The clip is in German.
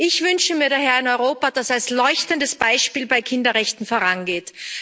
Ich wünsche mir daher ein Europa, das als leuchtendes Beispiel bei Kinderrechten vorangeht.